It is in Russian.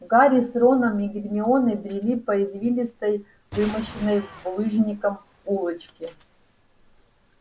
гарри с роном и гермионой брели по извилистой вымощенной булыжником улочке